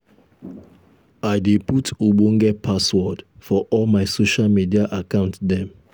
i dey put ogbonge password for all my social media account dem.